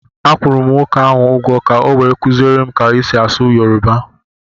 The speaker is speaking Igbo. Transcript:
Akwụrụ m nwoke ahụ ụgwọ ka o wee kuziere m ka e si asụ yoruba